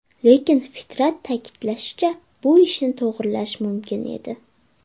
Lekin Fitrat ta’kidlashicha, bu ishni to‘g‘irlash mumkin edi.